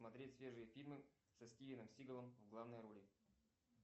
смотреть свежие фильмы со стивеном сигалом в главной роли